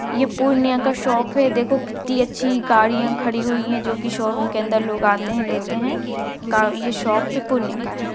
ये पूर्णिया का शॉप है देखो कितनी अच्छी गाड़ियां खड़ी हुई हैं जो कि शोरूम के अंदर लोग आते है लेते है का ये शॉप पूर्णिया का है।